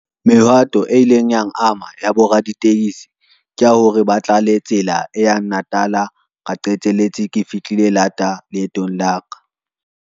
Mehwato e ileng yang ama ya bo raditekesi ke ya hore ba tla le tsela e yang Natal. Ka qeteletse ke fihlile lata leetong la ka.